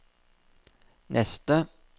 neste